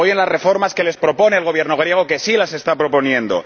Apoyen las reformas que les propone el Gobierno griego, que sí las está proponiendo.